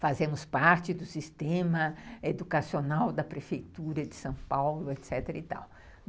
Fazemos parte do sistema educacional da prefeitura de São Paulo, etecetera e tal.